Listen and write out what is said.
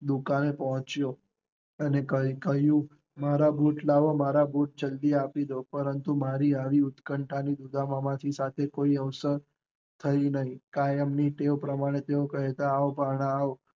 દુકાને પોંચ્યો, મારા બુટ લેવો, મારા બુટ જલ્દી આપી ડો, પરંતુ આવી ઉત્કંઠા ની રૂડા હોવાં કરને કોઈ અવસર થયો નહીં, કાયમ ની ટેવ પ્રમાણે કેહતા આવવો ભાણા આવો.